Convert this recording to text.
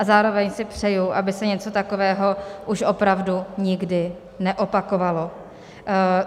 A zároveň si přeji, aby se něco takového už opravdu nikdy neopakovalo.